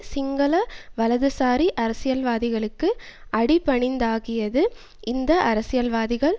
சிங்கள வலதுசாரி அரசியல்வாதிகளுக்கு அடிபணிந்ததாக்கியது இந்த அரசியல்வாதிகள்